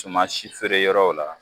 Cuma si feereyɔrɔw la